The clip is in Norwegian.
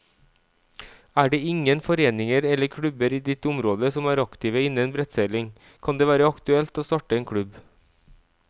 Er det ingen foreninger eller klubber i ditt område som er aktive innen brettseiling, kan det være aktuelt å starte en klubb.